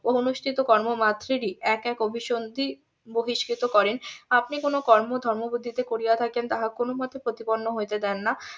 অনুষ্ঠিত কর্ম মাত্রেরই এক এক অভিসন্ধি বহিস্কৃত করেন আপনি কোনো কর্ম ধর্মবুদ্ধিতে করিয়া থাকেন তাহা কোন মতে প্রতিপন্ন হতে দেন না